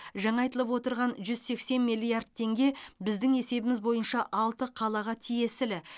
жаңа айтылып отырған жүз сексен миллиард теңге біздің есебіміз бойынша алты қалаға тиесілі